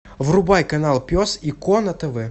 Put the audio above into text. врубай канал пес и ко на тв